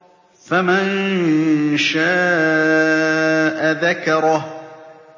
فَمَن شَاءَ ذَكَرَهُ